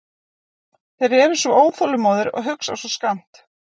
Þeir eru svo óþolinmóðir og hugsa svo skammt.